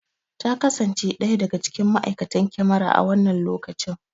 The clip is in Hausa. Ta kasance ɗaya daga cikin ma!aikatan kyamara a wannan lokacin